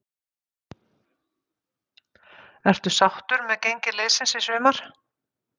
Ertu sáttur með gengi liðsins í sumar?